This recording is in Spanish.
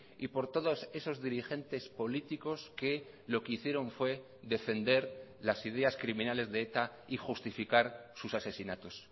y por todos esos dirigentes políticos que lo que hicieron fue defender las ideas criminales de eta y justificar sus asesinatos